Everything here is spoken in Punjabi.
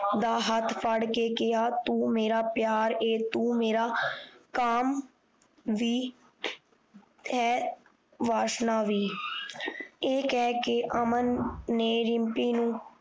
ਦਾ ਹੱਥ ਫੜ ਕ ਕਿਹਾ ਤੂੰ ਮੇਰਾ ਪਿਆਰ ਐ ਤੂੰ ਮੇਰਾ ਕਾਮ ਵੀ ਹੈ ਵਾਸਨਾ ਵੀ ਇਹ ਕਹਿ ਕ ਅਮਨ ਨੇ ਰਿਮਪੀ ਨੂੰ